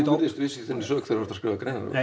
virðist viss í þinni sök þegar þú ert að skrifa greinar